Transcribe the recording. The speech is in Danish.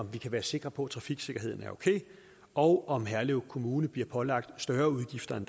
vi kan være sikre på at trafiksikkerheden er okay og om herlev kommune bliver pålagt større udgifter end